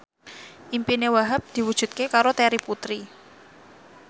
impine Wahhab diwujudke karo Terry Putri